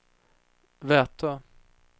Vätö